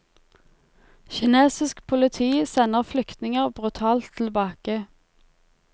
Kinesisk politi sender flyktninger brutalt tilbake.